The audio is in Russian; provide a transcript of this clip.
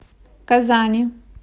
казани